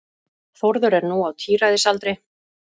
Þórður er nú á tíræðisaldri.